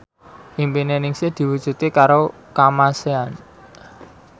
impine Ningsih diwujudke karo Kamasean